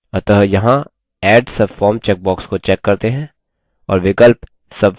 अतः यहाँ add subform checkbox को check करते हैं